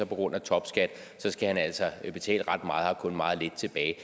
grund af topskat altså betale ret meget og har kun meget lidt tilbage